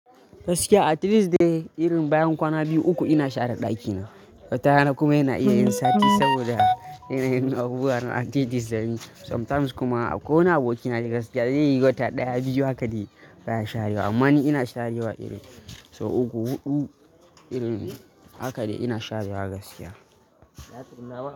Gaskiya at least da irin bayan kwana biyu uku ina share ɗakina. Wata rana kuma yana iya yin sati saboda yana yin abubuwa ranar Tuesday zamin. Sometimes kuma ko wani aboki na gaskiya zai yi wata ɗaya biyu haka dai ba ya sharewa. Amma ni ina sharewa iri sau uku huɗu irin haka dai ina sharewa gaskiya.